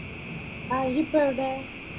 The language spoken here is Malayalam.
ആ ഈയ് ഇപ്പോ എവിടെ?